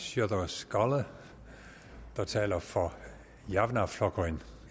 sjúrður skaale der taler for javnaðarflokkurin